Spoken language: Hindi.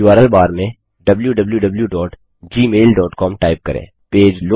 उर्ल बार में wwwgmailcom टाइप करें